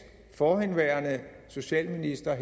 forhenværende socialministre og